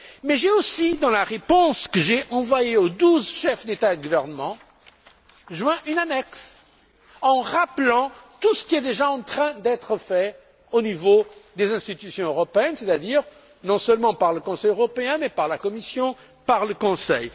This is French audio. Mais j'ai aussi, dans la réponse que j'ai envoyée aux douze chefs d'État et de gouvernement, joint une annexe rappelant tout ce qui est déjà en train d'être fait au niveau des institutions européennes, c'est à dire non seulement par le Conseil européen, mais aussi par la Commission et par le Conseil.